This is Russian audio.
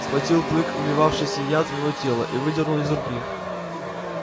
схватил клык вливавший яд в его тело и выдернул из руки